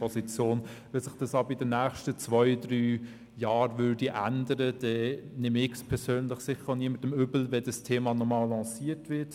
Sollte sich dies aber in den nächsten zwei bis drei Jahren ändern, nähme ich es persönlich sicher niemandem übel, wenn dieses Thema noch einmal lanciert würde.